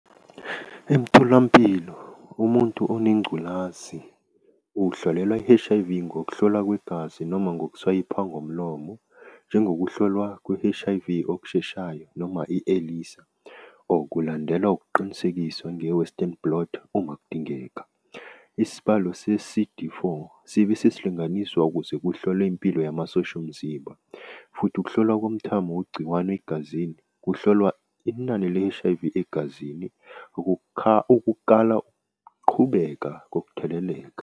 Emtholampilo, umuntu onengculazi uhlolelwa i-H_I_V ngokuhlolwa kwegazi noma ngokuswayipha ngomulomo, njengokuhlolwa kwe-H_I_V okusheshayo, noma i-Elisa, or kulandelwa ukuqinisekiswa nge-Western blot uma kudingeka. Isibalo se-C_D four, sibe sesihlanganiswa ukuze kuhlolwe impilo yamasosha omzimba. Futhi ukuhlolwa komthamo wegciwane egazini kuhlolwa inani le-H_I_V egazini uqhubeka kokutheleleka.